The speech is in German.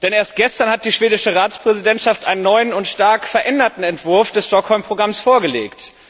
Denn erst gestern hat die schwedische Ratspräsidentschaft einen neuen und stark veränderten Entwurf des Stockholm Programms vorgelegt.